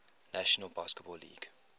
national basketball league